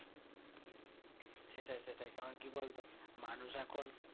সেটাই সেটাই কারণ কি বলতো মানুষ এখন